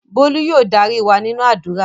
Bólú yóò darí wa nínú àdúrà